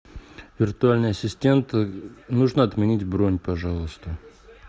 виртуальный ассистент нужно отменить бронь пожалуйста